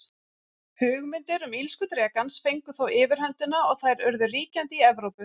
Hugmyndir um illsku drekans fengu þó yfirhöndina og þær urðu ríkjandi í Evrópu.